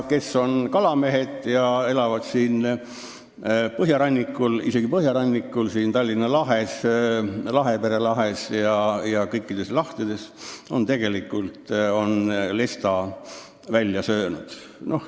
Kes on kalamehed ja elavad siin põhjarannikul, teavad, et ta on siin Tallinna lahes ja Lahepere lahes – tegelikult kõikides lahtedes – lesta välja söönud.